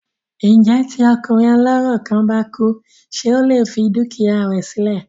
Ǹjẹ́ tí ọkùnrin ọlọ́rọ̀ kan bá kú ṣé ó lè fi dúkìá rẹ sí lẹ̀?